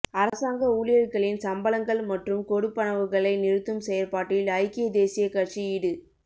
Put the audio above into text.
அரசாங்க ஊழியர்களின் சம்பளங்கள் மற்றும் கொடுப்பனவுகளை நிறுத்தும் செயற்பாட்டில் ஐக்கிய தேசிய கட்சி ஈடு